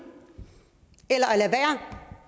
eller